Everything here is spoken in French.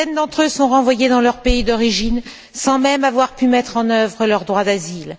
Des dizaines d'entre eux sont renvoyés dans leur pays d'origine, sans même avoir pu mettre en œuvre leur droit d'asile.